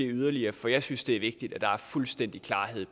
yderligere for jeg synes det er vigtigt at der er fuldstændig klarhed